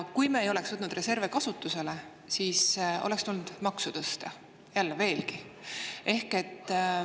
Kui me ei oleks reserve kasutusele võtnud, siis oleks tulnud jälle maksu tõsta, veelgi tõsta.